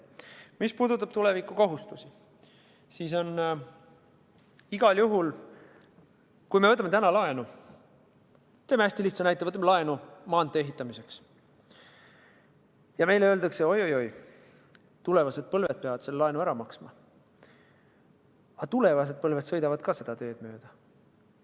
Mis puudutab tulevikukohustusi, siis on igal juhul nii, et kui me võtame täna laenu – toome hästi lihtsa näite, võtame laenu maantee ehitamiseks – ja meile öeldakse, et oi-oi-oi, tulevased põlved peavad selle laenu tagasi maksma, siis aga tulevased põlved sõidavad samuti seda teed mööda.